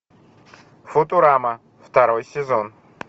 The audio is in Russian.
футурама второй сезон